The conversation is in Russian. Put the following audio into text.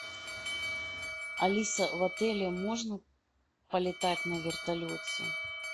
алиса в отеле можно полетать на вертолете